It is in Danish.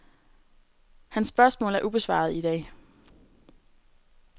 Hans spørgsmål er ubesvarede i dag.